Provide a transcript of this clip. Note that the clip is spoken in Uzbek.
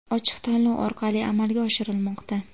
ochiq tanlov orqali amalga oshirilmoqda.